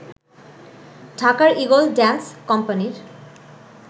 ঢাকার eagle dance কোম্পানির